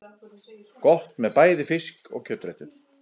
Gott með bæði fisk- og kjötréttum.